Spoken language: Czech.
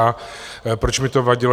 A proč mi to vadilo?